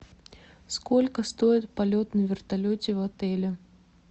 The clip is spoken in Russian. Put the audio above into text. сколько стоит полет на вертолете в отеле